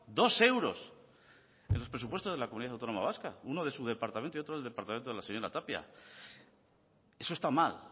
dos euros en los presupuestos de la comunidad autónoma vasca uno de su departamento y otro del departamento de la señora tapia eso está mal